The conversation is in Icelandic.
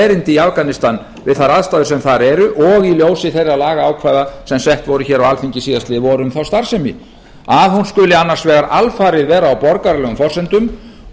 erindi í afganistan við þær aðstæður sem þar eru og í ljósi þeirra lagaákvæða sem sett voru hér á alþingi síðastliðið vor um þá starfsemi að hún skuli annars vegar alfarið vera á borgaralegum forsendum